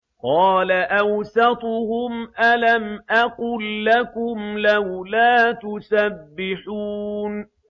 قَالَ أَوْسَطُهُمْ أَلَمْ أَقُل لَّكُمْ لَوْلَا تُسَبِّحُونَ